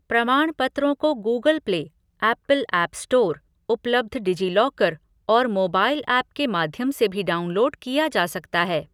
प्रमाणपत्रों को Google play, Apple app store, उपलब्ध डिजीलॉकर और मोबाइल ऐप के माध्यम से भी डाउनलोड किया जा सकता है।